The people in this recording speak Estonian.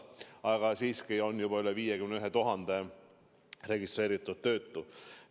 Aga siiski on meil juba üle 51 000 registreeritud töötu.